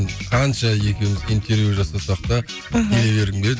қанша екеуміз интервью жасасақ та аха келе бергім келеді